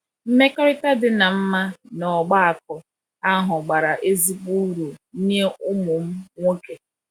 Mmekọrịta dị mma n’ọgbakọ ahụ bara ezigbo uru nye ụmụ m nwoke.